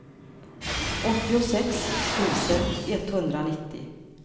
åttiosex tusen etthundranittio